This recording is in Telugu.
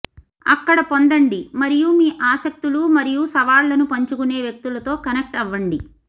అక్కడ పొందండి మరియు మీ ఆసక్తులు మరియు సవాళ్లను పంచుకునే వ్యక్తులతో కనెక్ట్ అవ్వండి